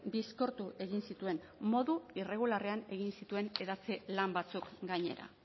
bizkortu egin zituen modu irregularrean egin zituen hedatze lan batzuk gainera